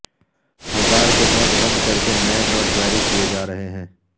ہزار کے نوٹ بند کر کے نئے نوٹ جاری کیے جا رہے ہیں